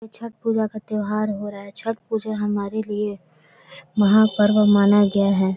छठ पुजा का त्योहार हो रहा है छठ पूजा हमारे लिए महापर्व माना गया हैं।